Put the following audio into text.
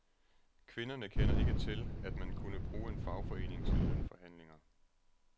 Kvinderne kender ikke til, at man kunne bruge en fagforening til lønforhandlinger.